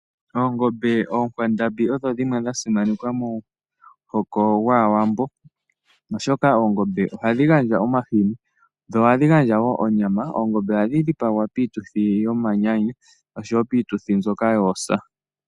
Oongombe onkwandambi odho dhimwe dha simanekwa momuhoko gwAawambo oshoka oongombe ohadhi gandja omahini dho ohadhi gandjawo onyama. Ohadhi dhipagwa piituthi yomanyanyu oshowo piituthi mbyoka yoosa.